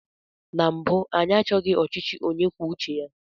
Na mbụ, anyị achọghị ọchịchị onye kwuo uche ya.